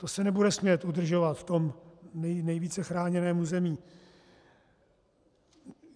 To se nebude smět udržovat v tom nejvíce chráněném území.